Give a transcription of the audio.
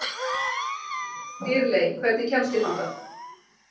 Dýrley, hvernig kemst ég þangað?